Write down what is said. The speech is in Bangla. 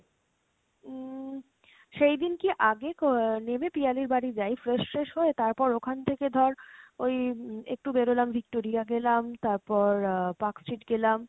উম সেইদিন কী আগে আহ নেমে পিয়ালির বাড়ি যায় , fresh ট্রেস হয়ে তারপর ওখান থেকে ধর ওই উম একটু বেরোলাম Victoria গেলাম তারপর আহ Park Street গেলাম।